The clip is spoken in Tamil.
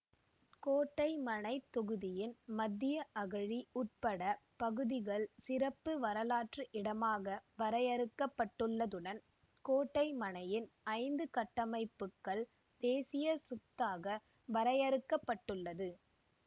கோட்டைமனைத் தொகுதியின் மத்திய அகழி உட்பட்ட பகுதிகள் சிறப்பு வரலாற்று இடமாக வரையறுக்கப்பட்டுள்ளதுடன் கோட்டைமனையின் ஐந்து கட்டமைப்புக்கள் தேசிய சொத்தாக வரையறுக்கப்பட்டுள்ளது